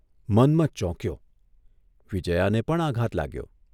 મન્મથ ચોંક્યો, વિજ્યાને પણ આઘાત લાગ્યો.